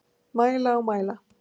Mæla og mæla